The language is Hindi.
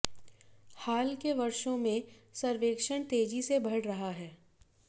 हाल के वर्षों में सर्वेक्षण तेजी से बढ़ रहा है